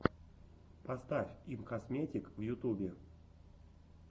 поставь имкосметик в ютубе